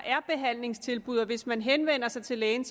er behandlingstilbud og hvis man henvender sig til lægen